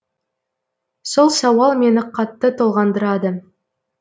сол сауал мені қатты толғандырады